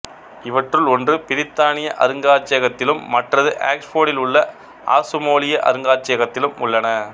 இவற்றுள் ஒன்று பிரித்தானிய அருங்காட்சியகத்திலும் மற்றது ஆக்சுபோர்டில் உள்ள ஆசுமோலிய அருங்காட்சியகத்திலும் உள்ளன